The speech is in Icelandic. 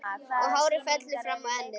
Og hárið fellur fram á ennið.